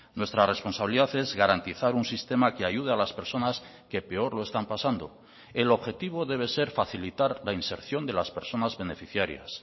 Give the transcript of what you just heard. nuestra responsabilidad es garantizar un sistema que ayude a las personas que peor lo están pasando el objetivo debe ser facilitar la inserción de las personas beneficiarias